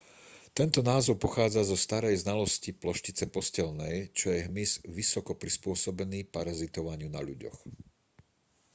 tento názov pochádza zo starej znalosti ploštice posteľnej čo je hmyz vysoko prispôsobený parazitovaniu na ľuďoch